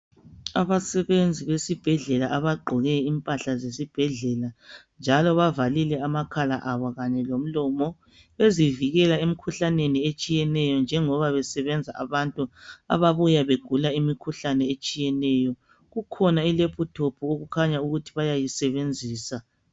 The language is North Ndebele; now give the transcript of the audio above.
Abasebenzi besibhedlela abagqoke impahla zesibhedlela njalo bavalile amakhala abo kanye lomlomo bezivikele emkhuhlaneni etshiyeneyo njengoba besebenza abantu ababuya begula imikhuhlane etshiyeneyo. Kukhona i laptop okukhanya ukuthi bayayisebenzisa.